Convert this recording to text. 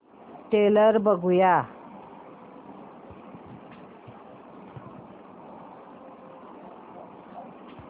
trailer बघूया